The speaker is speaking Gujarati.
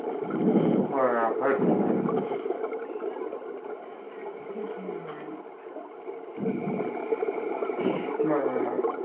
બરાબર. બરા